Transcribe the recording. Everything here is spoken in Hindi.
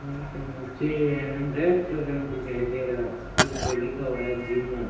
यहां पे मुझे रेस्टोरेंट दिखाई दे रहा है जिसपे लिखा हुआ है जीवन।